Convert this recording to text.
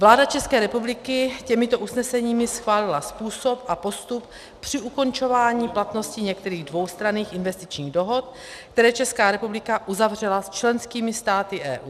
Vláda České republiky těmito usneseními schválila způsob a postup při ukončování platnosti některých dvoustranných investičních dohod, které Česká republika uzavřela s členskými státy EU.